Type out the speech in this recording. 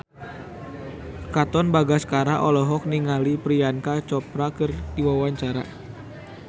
Katon Bagaskara olohok ningali Priyanka Chopra keur diwawancara